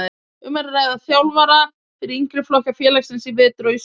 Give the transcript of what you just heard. Um er að ræða þjálfara fyrir yngri flokka félagsins í vetur og í sumar.